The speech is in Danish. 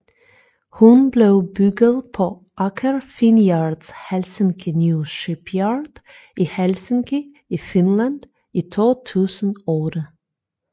Hun blev bygget på Aker Finnyards Helsinki New Shipyard i Helsinki i Finland i 2008